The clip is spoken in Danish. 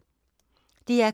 DR K